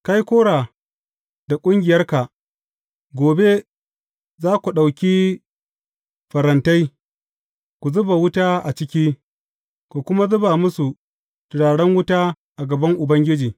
Kai Kora da ƙungiyarka, gobe, za ku ɗauki farantai, ku zuba wuta a ciki, ku kuma zuba musu turaren wuta a gaban Ubangiji.